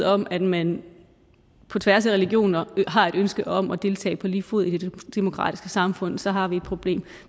om at man på tværs af religioner har et ønske om at deltage på lige fod i det demokratiske samfund så har vi et problem